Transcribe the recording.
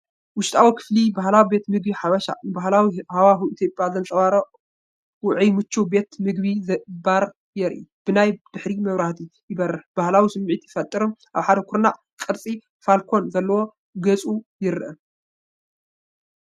ውሽጣዊ ክፍሊ ባህላዊ ቤት ምግቢ ሓበሻ። ንባህላዊ ሃዋህው ኢትዮጵያ ዘንጸባርቕ ውዑይን ምቹውን ቤት መግቢን ባርን ይርአ። ብናይ ድሕሪት መብራህቲ ይበርህ። ባህላዊ ስምዒት ይፈጥርን ኣብ ሓደ ኩርናዕ ቅርጺ ፋልኮን ዘለዎ ጌጽ ይርአ።